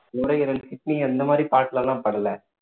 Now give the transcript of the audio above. நுரையீரல் kidney இந்த மாதிரி part ல எல்லாம் படல